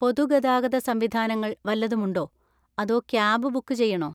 പൊതു ഗതാഗത സംവിധാനങ്ങൾ വല്ലതും ഉണ്ടോ അതോ ക്യാബ് ബുക്ക് ചെയ്യണോ?